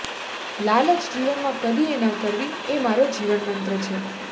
લાલચ જીવનમાં કદી એ ન કરવી એ મારો જીવન મંત્ર છે